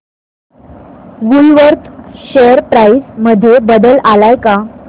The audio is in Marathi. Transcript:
वूलवर्थ शेअर प्राइस मध्ये बदल आलाय का